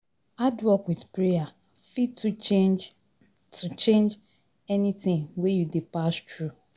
Hardwork with prayer fit to change to change anything wey you dey pass through